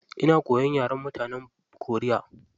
Ina koyan yaren mutanen koriya.